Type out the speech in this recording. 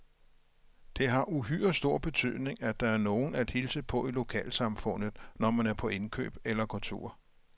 Det har uhyre stor betydning, at der er nogen at hilse på i lokalsamfundet, når man er på indkøb eller går tur.